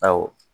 Awɔ